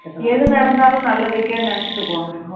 எது நடந்தாலும் நல்லதுக்கே நினைச்சிட்டு போங்க